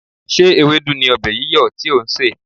Ṣé ewédú ni ọbẹ̀ yíyọ̀ tí ò ń sè?